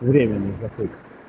время